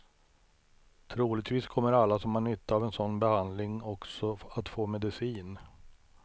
Troligtvis kommer alla som har nytta av en sådan behandling också att få medicin.